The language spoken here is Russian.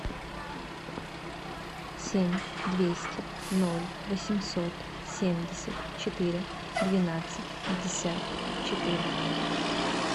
семь двести ноль восемьсот семьдесят четыре двенадцать пятьдесят четыре